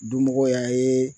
Dunmɔgɔw y'a ye